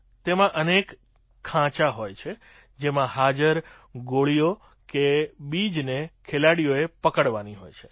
તેમાં અનેક ખાંચા હોય છે જેમાં હાજર ગોળી કે બીજને ખેલાડીઓએ પકડવાની હોય છે